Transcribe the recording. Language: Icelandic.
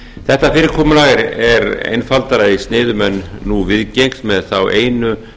þetta fyrirkomulag er einfaldara í sniðum en nú viðgengst með þá einu